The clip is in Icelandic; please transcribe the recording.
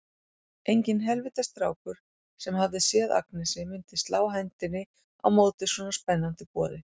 Enginn heilvita strákur, sem hefði séð Agnesi, myndi slá hendinni á móti svona spennandi boði.